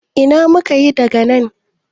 Ina muka yi daga nan?